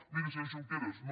miri senyor junqueras no